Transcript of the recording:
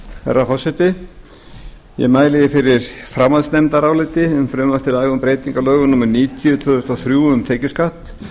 herra forseti ég mæli fyrir framhaldsnefndaráliti um frumvarp til laga um breytingu á lögum númer níutíu tvö þúsund og þrjú um tekjuskatt